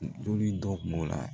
Dumuni dɔ b'o la